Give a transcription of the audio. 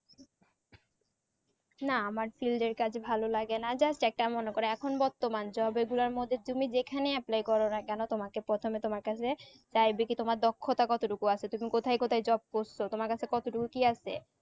না আমার field এর কাজ ভালো লাগে না just একটা মনে করো এখন বর্তমান job এই গুলার মধ্যে তুমি যেখানে apply করো না কোনো তোমাকে প্রথমে তোমার কাছে চারিদিকে তোমার দক্ষতা কত টুকু আছে তুমি কোথায় কোথায় job করছো তোমার কাছে কত টুকু কি আছে